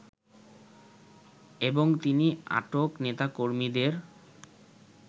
এবং তিনি আটক নেতাকর্মীদের